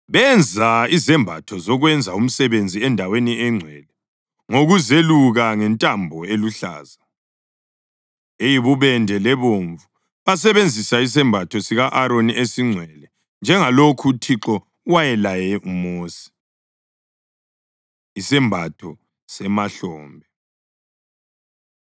Benza izembatho zokwenza umsebenzi endaweni engcwele ngokuzeluka ngentambo eluhlaza, eyibubende lebomvu. Basebesenza isembatho sika-Aroni esingcwele, njengalokhu uThixo wayelaye uMosi. Isembatho Semahlombe